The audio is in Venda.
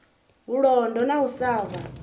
vhulondo na u sa vha